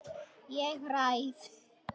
Ég ræð.